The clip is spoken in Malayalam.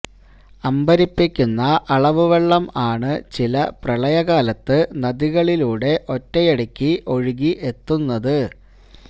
അമ്പരിപ്പിക്കുന്ന അളവ് വെള്ളം ആണ് ചില പ്രളയ കാലത്ത് നദികളിലൂടെ ഒറ്റയടിക്ക് ഒഴുകി എത്തുന്നത്